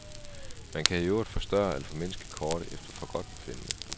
Man kan i øvrigt forstørre eller formindske kortet efter forgodtbefindende.